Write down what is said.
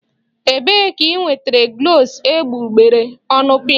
Ebee ka i nwetara glọs egbugbere ọnụ pinkị?